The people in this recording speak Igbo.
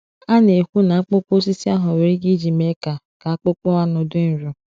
A na-ekwu na akpụkpọ osisi ahụ nwere ike iji mee ka ka akpụkpọ anụ dị nro.